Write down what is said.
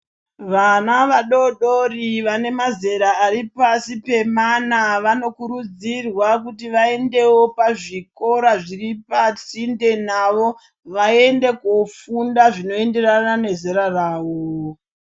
Vana vadodori vane mazera ari pasi pemana vanokurudzirwa kuti vaendewo kuzvikora zviripasinde navo vaende kofunda zvinoenderana nezera ravo.